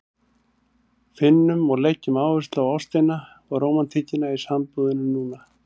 Finnum og leggjum áherslu á ástina og rómantíkina í sambúðinni núna!